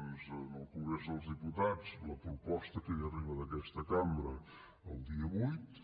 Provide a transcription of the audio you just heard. en el congrés dels diputats la proposta que hi arriba d’aquesta cambra el dia vuit